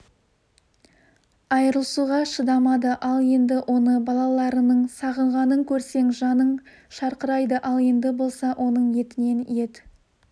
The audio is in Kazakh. айырылысуға шыдамады ал енді оны балаларының сағынғанын көрсең жаның шырқырайды ал енді болса оның етінен ет